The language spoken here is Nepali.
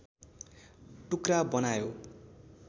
टुक्रा बनायो